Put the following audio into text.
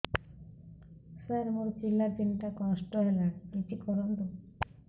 ସାର ମୋର ପିଲା ତିନିଟା ନଷ୍ଟ ହେଲାଣି କିଛି କରନ୍ତୁ